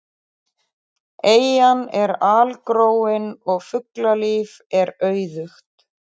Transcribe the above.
Eyjan er algróin og fuglalíf er auðugt.